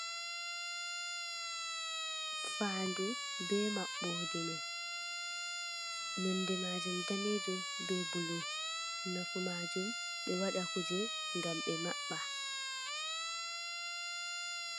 Faandu ɓe maɓɓode mai, nonde majum danejum be bulu, nafumajum ɓeɗo waɗa kuje ngam ɓe maɓɓa.